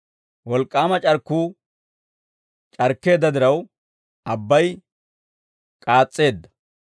Wolk'k'aama c'arkkuu c'arkkeedda diraw, abbay k'aas's'eedda;